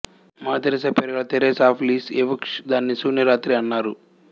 mother Teresa పేరుగల Therese of Lisieux దానిని శూన్య రాత్రి అన్నారు